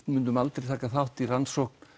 myndum aldrei taka þátt í rannsókn